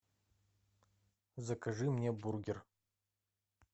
закажи мне бургер